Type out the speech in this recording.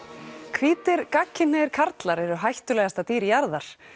hvítir gagnkynhneigðir karlar eru hættulegasta dýr jarðar